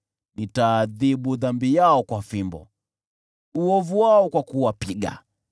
nitaadhibu dhambi yao kwa fimbo, uovu wao kwa kuwapiga,